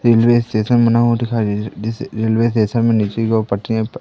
railway station बना हुआ दिखाई दे रहा है जिसे रेलवे स्टेशन में नीचे की ओर पटरियां पर--